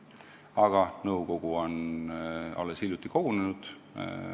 Aga nõukogu on alles hiljuti kogunenud.